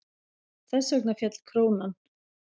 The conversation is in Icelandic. Þess vegna féll krónan.